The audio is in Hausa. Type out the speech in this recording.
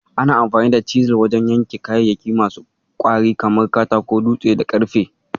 Ana amfani da Cisil wajen yanka kayayyaki masu ƙwari kamar Katako, dutse, da ƙarfe.